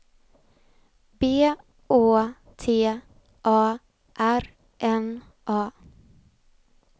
B Å T A R N A